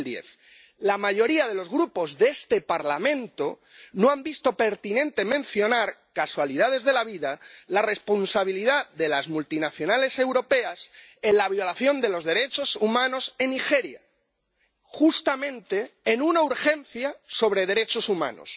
2010. La mayoría de los grupos de este Parlamento no han visto pertinente mencionar —casualidades de la vida— la responsabilidad de las multinacionales europeas en la violación de los derechos humanos en Nigeria, justamente en una Resolución de urgencia sobre derechos humanos